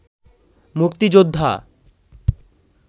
মুক্তিযোদ্ধা